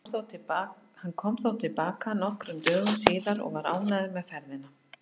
Hann kom þó til baka nokkrum dögum síðar og var ánægður með ferðina.